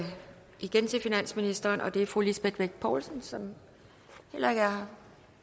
igen til finansministeren og det er fru lisbeth bech poulsen som heller ikke er